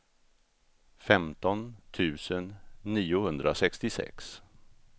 femton tusen niohundrasextiosex